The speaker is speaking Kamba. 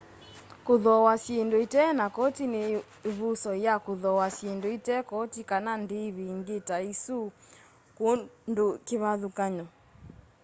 kuthooa syindu itena koti ni ivuso ya kuthooa syindu ite koti kana ndivi ingi ta isu kundu kivathukany'o